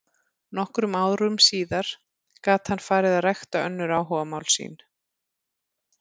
Nokkrum árum síðar gat hann farið að rækta önnur áhugamál sín.